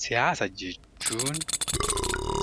Siyaasa jechuun